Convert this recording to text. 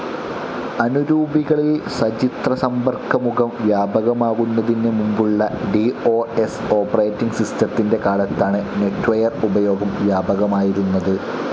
അനുരൂപികളിൽ സചിത്രസമ്പർക്കമുഖം വ്യാപകമാകുന്നതിനു മുൻപുള്ള ഡി ഓ സ്‌ ഓപ്പറേറ്റിങ്‌ സിസ്റ്റത്തിൻ്റെ കാലത്താണ് നെറ്റ്വെയർ ഉപയോഗം വ്യാപകമായിരുന്നത്.